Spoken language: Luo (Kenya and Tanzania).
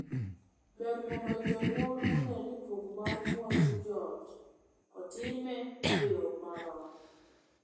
Ber mondo jonyuol onee ni pok mar mwandu joot otime e yoo marom.